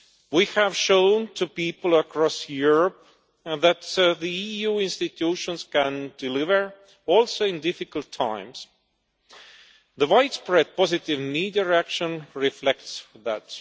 We have shown people across Europe that the EU institutions can deliver, also in difficult times. The widespread positive media reaction reflects that.